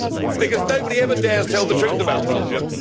Because nobody ever dares tell the truth about Belgium.